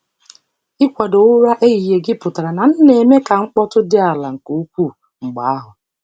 Ikwado ụra ehihie gị pụtara na m na-eme ka mkpọtụ dị ala nke ukwuu mgbe ahụ.